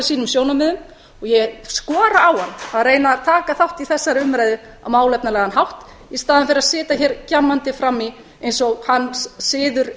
sínum sjónarmiðum og ég skora á hann að reyna að taka þátt í þessari umræðu á málefnalegan hátt í staðinn fyrir að sitja hér gjammandi fram í eins og hans siður